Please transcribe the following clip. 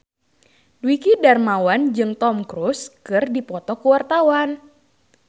Dwiki Darmawan jeung Tom Cruise keur dipoto ku wartawan